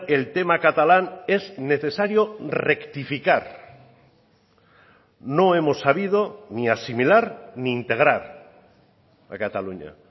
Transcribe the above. el tema catalán es necesario rectificar no hemos sabido ni asimilar ni integrar a cataluña